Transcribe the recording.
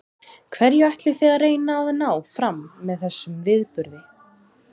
Hverju ætlið þið að reyna að ná fram með þessum viðburði?